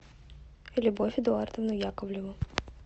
любовь эдуардовну яковлеву